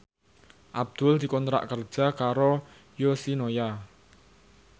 Abdul dikontrak kerja karo Yoshinoya